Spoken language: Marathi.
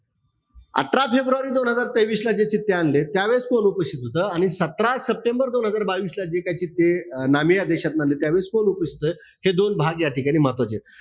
अठरा फेब्रुवारी दोन हजार तेवीसला ते चित्ते आणले. त्यावेळेस कोण उपस्थित होत. आणि सतरा सप्टेंबर दोन हजार बावीस ला जे काय तिथे नामी या देशातून आणले. त्यावेळेस कोण उपस्थित ए हे दोन भाग याठिकाणी महत्वाचेत.